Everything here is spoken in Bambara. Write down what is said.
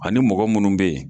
Ani mɔgɔ munnu be yen